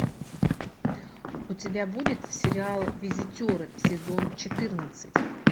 у тебя будет сериал визитеры сезон четырнадцать